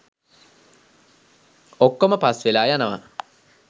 ඔක්කොම පස්වෙලා යනවා.